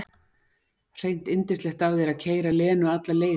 Hreint yndislegt af þér að keyra Lenu alla leið hingað heim.